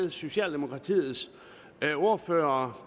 med socialdemokratiets ordfører